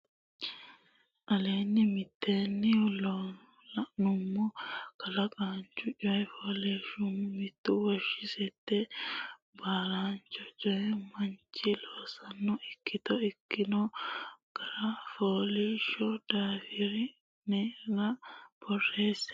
aleenni mitteenni loonummo Kulaancho coy fooliishsho mittu lawishshi sette kulaancho coy manchi loosonna ikkito ikkitino gara fooliishsho daftari ne aana borreesse.